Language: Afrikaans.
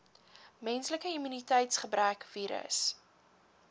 menslike immuniteitsgebrekvirus